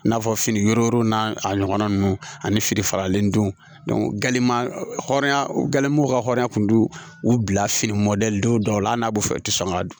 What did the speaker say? I n'a fɔ fini n'a ɲɔgɔnna ninnu ani fini faralen ninnu u ka hɔrɔnya tun bɛ u bila fini mɔdɛli dɔw la hali n'a bɛ fɛ i tɛ sɔn ka dun